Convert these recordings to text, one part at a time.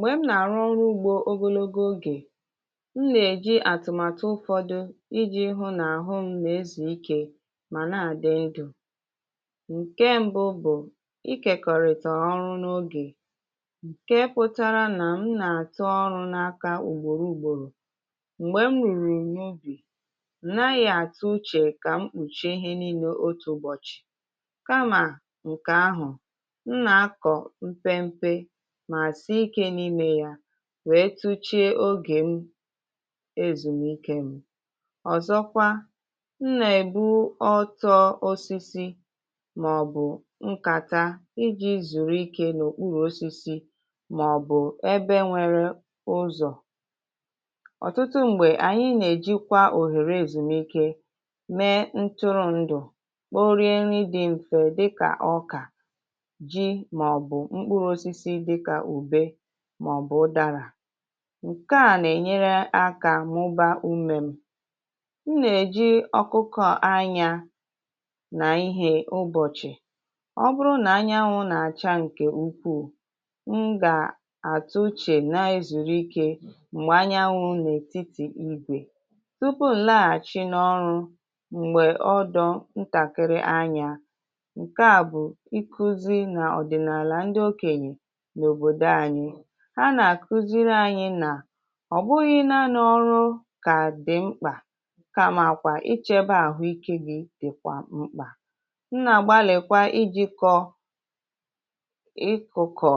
m̀gbè m nà-àrụ ọrụ ugbȯ ogologo ogè m nà-èji àtụ̀màtụ ụfọ̇dụ̇ iji̇ hụ nà àhụ m na-ezùikė màna àdị ndụ̇ ǹke mbụ bụ̀ ịkèkọ̀rị̀tà ọrụ n’ogè ǹke pụtara nà m nà-àtụ ọrụ̇ n’aka ùgbòro ùgbòrò m̀gbè m rùrù n’ubì m naghị̇ àtụ uchè kà mkpùchìe ihe nine otu ụbọ̀chị̀ kamà ǹkè ahụ̀ m na-akọ mpe mpe ma sie ike n’ime ya wèe tuchie ogè m ezùmike m ọzọkwa m nà-èbu ọtọ osisi màọbụ nkata iji zùrù ike n’òkpuru osisi màọbụ ebe nwere ụzọ̀ ọ̀tụtụ m̀gbè ànyị nà-èjikwa òhèrè ezùmike mee ntụrụndụ̀ kporie nri dị m̀fè dịkà ọkà ji ma ọ bụ mkpụrụ osisi dị ka ube ma ọ bụ ụdara ǹkè a nà-ènyere akȧ mụba umė m̀ nà-èji ọkụkọ̇ anyȧ nà ihe ụbọ̀chị̀ ọ bụrụ nà anyanwụ̇ nà-àcha ǹkè ukwuù m gà-àtụche na-ezùrù ike m̀gbè anyanwụ̇ n’ètitì ibè tupu̇ nlaghàchi n’ọrụ m̀gbè ọdọ̇ ntàkịrị anyȧ ǹkè a bụ̀ nkụzi nà ọ̀dị̀nààlà ndị okènyè nà òbòdò ànyị ha nà-àkuziri anyi nà ọ̀bụghị̇ naanị ọrụ kà dị mkpà kamàkwà ịchėbe àhụ ikė gị dị kwà mkpà m nà-àgbalịkwa ijikọ̇ ịkụ̀kụ̀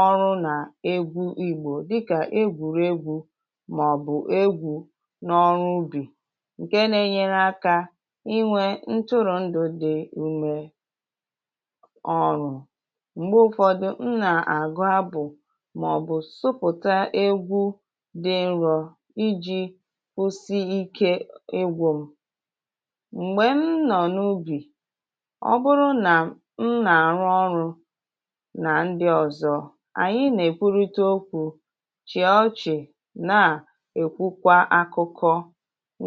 ọrụ nà egwu igbò dịkà egwùrù egwu màọbụ̀ egwu n’ọrụ ubì ǹke nȧ-enyere aka ịnwe ntụrụ̀ndụ̀ dị ume ọrụ̇ mgbe ụfọdụ m na-agụ abụ màọ̀bụ̀ sụpụ̀ta egwu dị nrọ̇ iji̇ kwụsị ike ịgwụm m̀gbè m nọ̀ n’ubì ọ bụrụ nà m nà-àrụ ọrụ̇ nà ndị ọ̀zọ ànyị nà-èkwurịte okwu̇ chịa ọchị̀ nàà èkwukwa akụkọ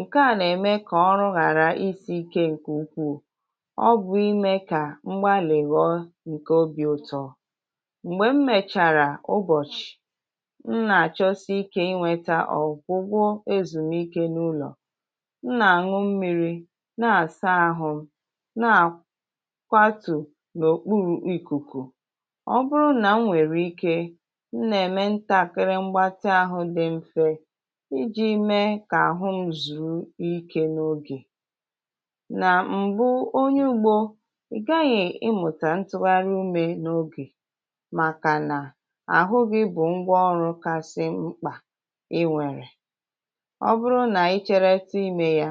ǹke à nà-ème kà ọrụ ghàra isi̇ ike ǹkè ukwuù ọ bụ̀ imė kà mgbalị ghọọ obì ụtọ̀ mgbe m mèchàrà ụbọsị m nà-àchọsiikė ịnwėtȧ ọ̀ gwụgwọ ezùmike n’ụlọ̀ m nà-àṅụ mmiri̇ nà-àsa ahụ̇ na-akwatù n’òkpuru ikùkù ọbụrụ nà m nwèrè ike m nà-ème ntakịrị mgbatị àhụ dị mfe iji̇ mee kà àhụ m zùru ikė n’ogè nà m̀bụ onye ugbȯ ị gaghị̀ ịmụ̀tà ntụgharị umė n’ogè màkà nà ahụ gị bụ ngwa ọrụ kasị mkpà ị nwèrè ọ bụrụ nà ịchereṭụ imė ya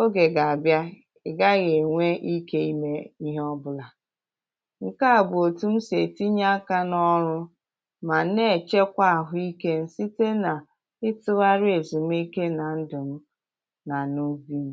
ogè gà-àbịa ị gaghị̇ ènwe ike ime ihe ọbụlà ǹkèa bụ̀ òtù m sì ètinye aka n’ọrụ mà na-èchekwa àhụikė m site nà ịtụgharị èzùmike nà ndụ̀ m na n’ubi m